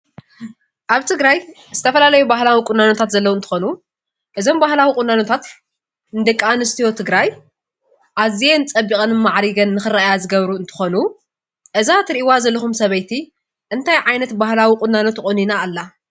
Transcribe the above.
ኣብ ትግራይ ዝተፈላለዩ ባህላዊ ቁናኖታት ዘለው እንትኾኑ እዞም ባህላዊ ቁኖታት ንደቂ ኣንስትዮ ትግራይ ኣዝየን ፀቢቐንን ማዕሪገንን ንኽረአያ ዝገብሩ እንትኾኑ እዛ ትሪእዋ ዘለኹም ሰበይቲ እንታይ ዓይነት ባህላዊ ቁናኖ ተቆኒና ኣላ?